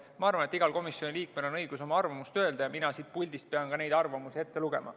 Ma arvan, et igal komisjoni liikmel on õigus oma arvamust öelda, ja mina siit puldist pean ka neid arvamusi ette lugema.